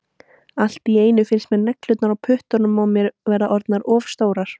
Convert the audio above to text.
Allt í einu finnst mér neglurnar á puttunum á mér vera orðnar of stórar.